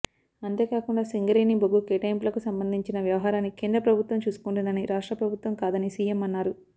అంతేకాకుండా సింగరేణి బొగ్గు కేటాయింపులకు సంబందించిన వ్యవహారాన్ని కేంద్ర ప్రభుత్వం చూసుకుంటుందని రాష్ట్రప్రభుత్వం కాదని సీఎం అన్నారు